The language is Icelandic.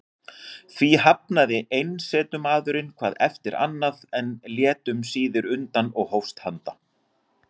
Því hafnaði einsetumaðurinn hvað eftir annað, en lét um síðir undan og hófst handa.